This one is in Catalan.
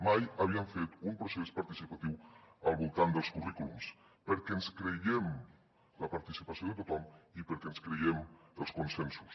mai havíem fet un procés participatiu al voltant dels currículums perquè ens creiem la participació de tothom i perquè ens creiem els consensos